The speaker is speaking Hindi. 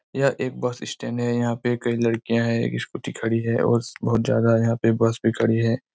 यह एक बस स्टैंड हैं यहाँ पे कई लड़किया हैं एक स्कूटी खड़ी हैं और बहोत ज्यादा यहाँ पे बस भी खड़ी हैं।